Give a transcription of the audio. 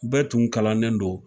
Bɛɛ tun kalannen don